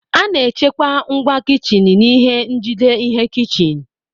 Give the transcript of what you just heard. A na-echekwa ngwa kichin n'ihe njide ihe kichin.